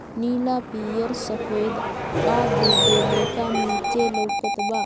नीला पीआर सफ़ेद आड़ू गोले का नीचे लोकात बा।